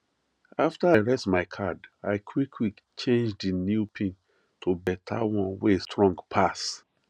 after i reset my card i quickquick change di new pin to beta one wey strong pass